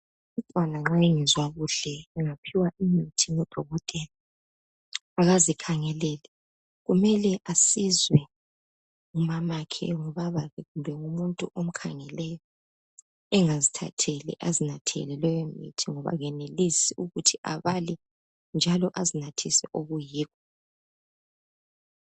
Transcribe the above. Umntwana nxa engezwa kuhle uyaphiwa umuthi ngudokotela akazikhangeleli. Kumele asizwe ngumamakhe, ngubabakhe, kumbe ngumuntu omkhangeleyo engazthatheli azinathele lowo mithi ngoba kenelisi ukuthi abale njalo azinathise okuyikho.